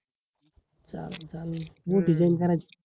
चालेल चालेल मोठी करायची